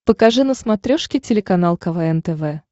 покажи на смотрешке телеканал квн тв